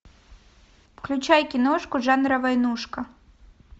включай киношку жанра войнушка